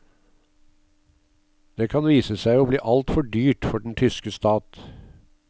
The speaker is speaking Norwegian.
Det kan vise seg å bli altfor dyrt for den tyske stat.